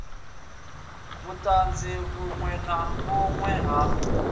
vhuṱanzu vhuṅwe na vhuṅwe ha